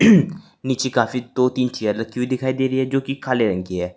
नीचे काफी दो तीन चेयर राखी हुई दिखाई दे रही है जो की काले रंग की है।